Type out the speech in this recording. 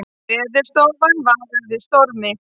Veðurstofan varar við stormi